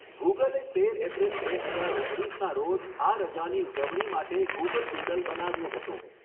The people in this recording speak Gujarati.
ગૂગલે તેર એપ્રિલ બે હજાર ઓગણીસના રોજ આ રજાની ઉજવણી માટે ગૂગલ ડૂડલ બનાવ્યું હતું.